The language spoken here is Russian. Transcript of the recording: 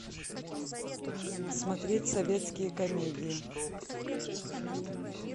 смотреть советские комедии